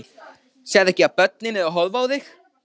Sérðu ekki að börnin eru að horfa á þig?